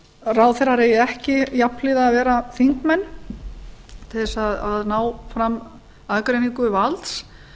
ráðherrar eigi ekki jafnhliða að vera þingmenn til að ná fram aðgreiningu valds